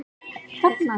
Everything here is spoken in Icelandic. Hún kreistir hönd mína.